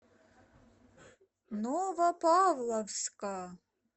новопавловска